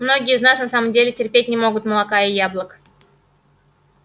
многие из нас на самом деле терпеть не могут молока и яблок